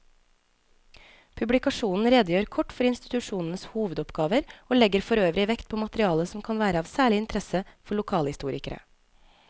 Publikasjonen redegjør kort for institusjonenes hovedoppgaver og legger forøvrig vekt på materiale som kan være av særlig interesse for lokalhistorikere.